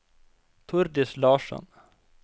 Tordis Larsson